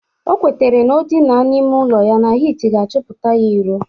O kwetere na o dina n'ime ụlọ ya na hit ga-achụpụta ya iro